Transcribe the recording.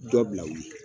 Dɔ bila wulu la